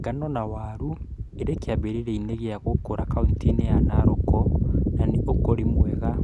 Ngano na waru irĩ kĩambĩrĩria-inĩ gĩa gũkũra kauntĩ-inĩ ya Narok na nĩ ũkũrĩrĩ mwega